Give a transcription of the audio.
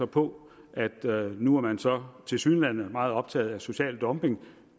på at nu er man så tilsyneladende meget optaget af social dumping